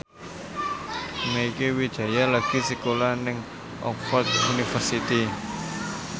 Mieke Wijaya lagi sekolah nang Oxford university